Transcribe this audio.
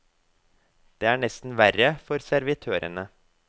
Det er nesten verre for servitørene.